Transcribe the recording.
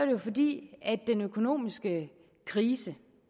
jo fordi den økonomiske krise